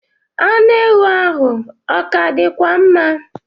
Anụ ewu ahụ ọ ka dịkwa mma?